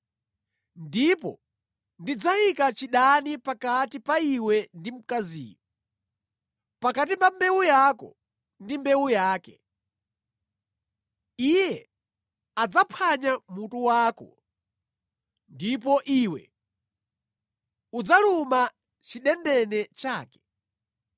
Ndipo ndidzayika chidani pakati pa iwe ndi mkaziyo, pakati pa mbewu yako ndi mbewu yake; Iye adzaphwanya mutu wako ndipo iwe udzaluma chidendene chake.”